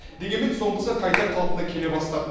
дегенмен соңғысы қайта қалпына келе бастады